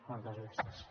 moltes gràcies